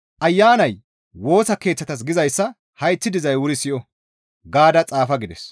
«Ayanay Woosa Keeththatas gizayssa hayththi dizay wuri siyo!» gaada xaafa gides.